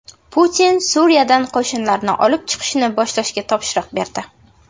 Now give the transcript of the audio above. Putin Suriyadan qo‘shinlarni olib chiqishni boshlashga topshiriq berdi.